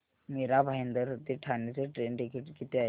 मीरा भाईंदर ते ठाणे चे train ticket किती आहे